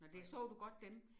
Nåh det så du godt dem?